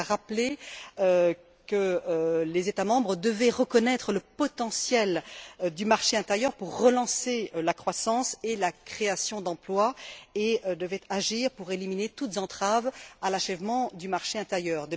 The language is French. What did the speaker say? Il a rappelé que les États membres devaient reconnaître le potentiel du marché intérieur pour relancer la croissance et la création d'emplois et devaient agir pour éliminer toutes entraves à l'achèvement du marché intérieur.